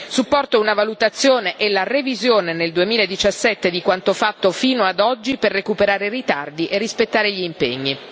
Supporto una valutazione e la revisione nel 2017 di quanto fatto fino ad oggi, per recuperare ritardi e rispettare gli impegni.